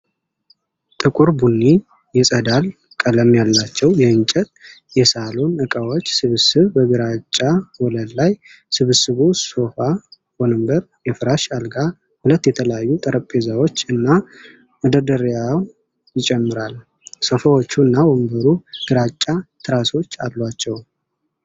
ጥቁር ቡኒ፣ የጸዳል ቀለም ያላቸው የእንጨት የሳሎን እቃዎች ስብስብ በግራጫ ወለል ላይ ። ስብስቡ ሶፋ፣ ወንበር፣ የፍራሽ አልጋ፣ ሁለት የተለያዩ ጠረጴዛዎች እና መደርደሪያን ይጨምራል። ሶፋዎቹ እና ወንበሩ ግራጫ ትራሶች አሏቸው።